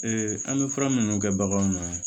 an bɛ fura minnu kɛ baganw na